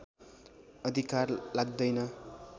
अधिकार लाग्दैन